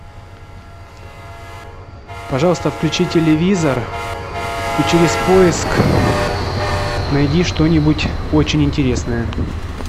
пожалуйста включи телевизор и через поиск найди что нибудь очень интересное